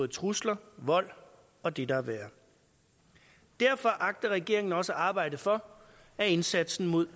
trusler vold og det der er værre derfor agter regeringen også at arbejde for at indsatsen mod